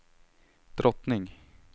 drottning